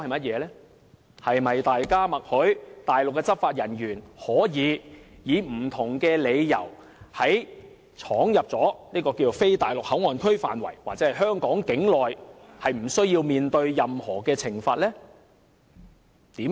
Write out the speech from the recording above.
是否等於大家默許內地執法人員，可以藉不同理由闖入非內地口岸區範圍或香港境內，而無須面對任何懲罰？